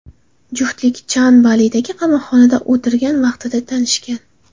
Juftlik Chan Balidagi qamoqxonada o‘tirgan vaqtida tanishgan.